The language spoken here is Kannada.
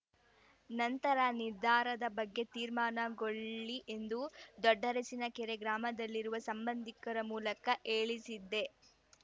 ನಂತರ ನಿರ್ಧಾರದ ಬಗ್ಗೆ ತೀರ್ಮಾನಗೊಳ್ಳಿ ಎಂದು ದೊಡ್ಡರಸಿನಕೆರೆ ಗ್ರಾಮದಲ್ಲಿರುವ ಸಂಬಂಧಿಕರ ಮೂಲಕ ಹೇಳಿಸಿದ್ದೆ